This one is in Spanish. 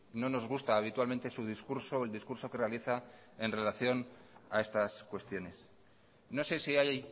no nos gusta habitualmente su discurso o el discurso que realiza en relación a estas cuestiones no sé si hay